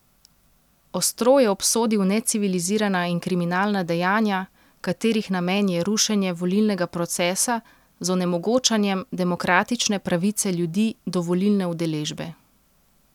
Ostro je obsodil necivilizirana in kriminalna dejanja, katerih namen je rušenje volilnega procesa z onemogočanjem demokratične pravice ljudi do volilne udeležbe.